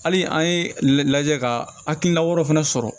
Hali an ye lajɛ ka hakilina wɛrɛw fana sɔrɔ